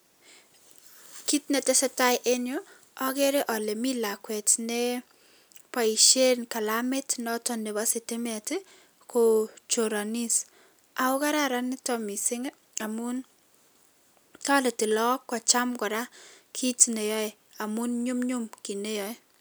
Kiit ne tesetai eng yu, ageere ale mi lakwet neboishe kalamit noto nebo sitimet kochoranis ako kararan nitok mising amun toreti laok kocham kiit nayoe amun nyumnyum kiit nayoe.